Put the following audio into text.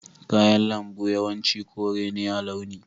Kayan lambu yawanci kore ne a launi.